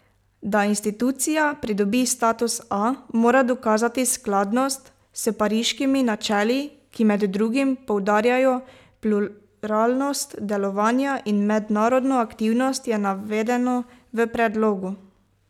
Da institucija pridobi status A, mora dokazati skladnost s Pariškimi načeli, ki med drugim poudarjajo pluralnost delovanja in mednarodno aktivnost, je navedeno v predlogu.